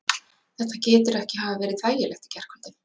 Þetta getur ekki hafa verið þægilegt í gærkvöldi?